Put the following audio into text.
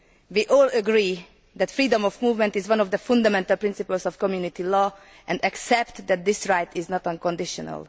We all agree that freedom of movement is one of the fundamental principles of Community law, and accept that this right is not unconditional.